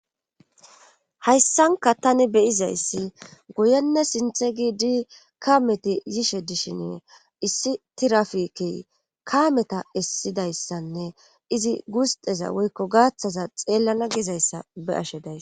hayssanka tani beyizayssi guyenne sinthe giidi kameti yishe dishine issi tirafiki kaameta issidayssanne izi guusteza woykko gaaththaza xeellana gizayssa be ashe days